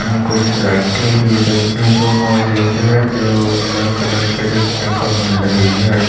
यहाँ कुछ लाइटें भी देखने को मौजूद है जो उजला कलर के देखने को मिल रही है।